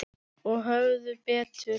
Og höfðu betur.